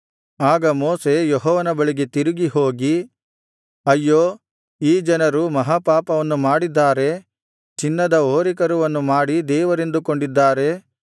ಆಗ ಮೋಶೆ ಯೆಹೋವನ ಬಳಿಗೆ ತಿರುಗಿ ಹೋಗಿ ಅಯ್ಯೋ ಈ ಜನರು ಮಹಾ ಪಾಪವನ್ನು ಮಾಡಿದ್ದಾರೆ ಚಿನ್ನದ ಹೋರಿಕರುವನ್ನು ಮಾಡಿ ದೇವರೆಂದುಕೊಂಡಿದ್ದಾರೆ